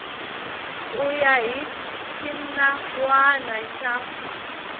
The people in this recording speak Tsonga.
ku ya hi xinawana xa